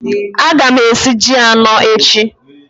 Aga m esi ji anọ echi